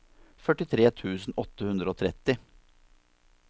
førtifire tusen åtte hundre og tretti